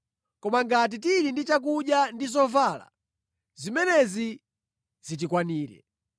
Koma ngati tili ndi chakudya ndi zovala, zimenezi zitikwanire.